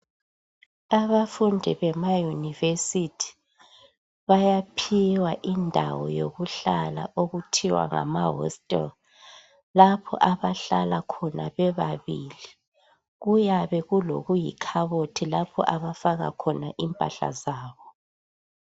Abafundi bemayunivesithi bayaphiwa indawo yokuhlala okuthiwa ngamahostel. Lapho abahlala khona bebabili. Kuyabe kulokuyikhabothi lapho abafaka khona impahla zabo.